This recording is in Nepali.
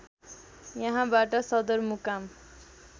यहाँबाट सदरमुकाम